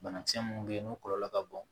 Banakisɛ minnu bɛ yen n'o kɔlɔlɔ ka bon